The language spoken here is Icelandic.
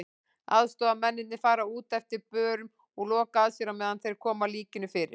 Aðstoðarmennirnir fara út eftir börum og loka að sér á meðan þeir koma líkinu fyrir.